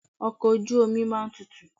Ọkọ̀ ojú omi máa ń tutù.